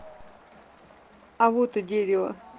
а вот и дерево